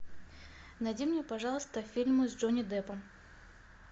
найди мне пожалуйста фильмы с джонни деппом